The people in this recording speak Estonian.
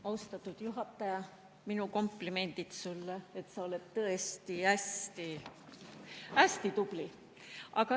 Austatud juhataja, minu komplimendid sulle, et sa oled tõesti hästi tubli!